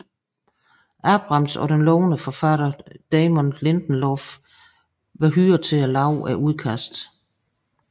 Abrams og den lovende forfatter Damon Lindelof hyret til at lave udkastet